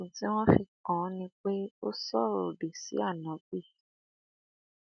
ẹsùn tí wọn fi kàn án ni pé ó sọrọ òdì sí áńóbì